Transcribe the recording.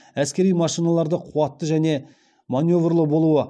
әскери машиналарды қуатты және маневрлі болуы